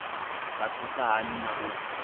nga thusa hani na u